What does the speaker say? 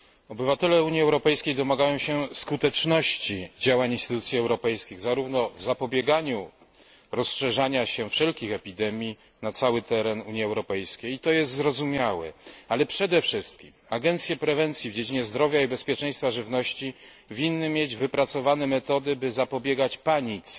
Obywatele Unii Europejskiej domagają się skuteczności działań instytucji europejskich również w zapobieganiu rozszerzania się wszelkich epidemii na cały teren Unii Europejskiej i to jest zrozumiałe ale przede wszystkim agencje prewencji w dziedzinie zdrowia i bezpieczeństwa żywności winny mieć wypracowane metody zapobiegania panice.